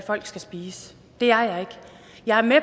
folk skal spise det er jeg ikke jeg er med